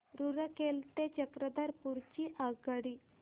रूरकेला ते चक्रधरपुर ची आगगाडी